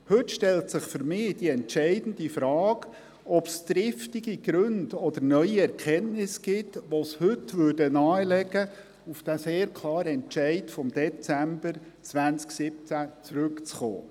Heute stellt sich für mich die entscheidende Frage, ob es triftige Gründe oder neue Erkenntnisse gibt, die nahelegen, auf diesen sehr klaren Entscheid vom Dezember 2017 zurückzukommen.